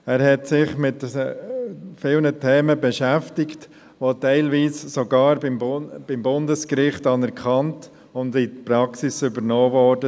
Er hat sich mit vielen Themen beschäftigt, die teilweise sogar beim Bundesgericht anerkannt und in die Praxis übernommen wurden.